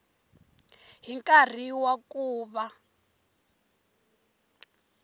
hi nkarhi wa ku va